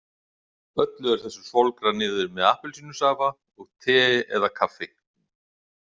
Öllu er þessu svolgrað niður með appelsínusafa og tei eða kaffi.